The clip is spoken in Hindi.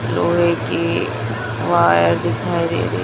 लोहे की वायर दिखाई दे रही--